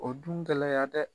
O dun kɛlɛ yan dɛ